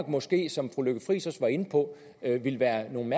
måske som fru lykke friis var inde på ville være nogle